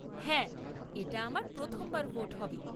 হ্যাঁ, এটা আমার প্রথমবার ভোট হবে।